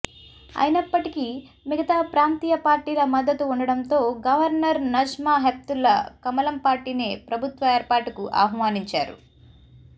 అయినప్పటికీ మిగతా ప్రాంతీయ పార్టీల మద్దతు ఉండడంతో గవర్నర్ నజ్మా హెప్తుల్లా కమలం పార్టీనే ప్రభుత్వ ఏర్పాటుకు ఆహ్వానించారు